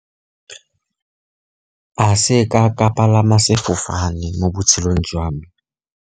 Ga seka ka palama sefofane mo botshelong jwa me.